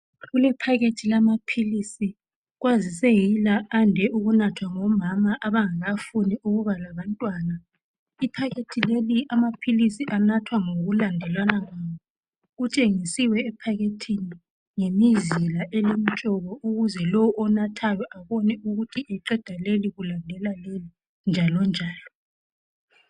Kulephakhethi lamapilisi, kwazise yila ande ukunathwa nobomama abangakafuni ukuba labantwana, Iphakhethi leli amapilisi anathwa ngokulandelana kwawo. Kutshenisiwe ephakhethini ngemizila elemtshoko ukuze lo onathayo abone ukuthi eqeda leli kulandela leli njalo njalo.